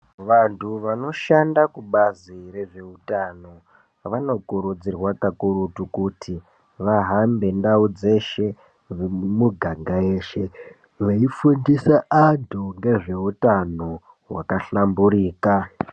Vantu vanoshanda kubazi rezveutano vanokurudzirwa kakurutu kuti vahambe ndau dzeshe nemumuganga yeshe veifundisa antu ngezveutano hwakahlamburika.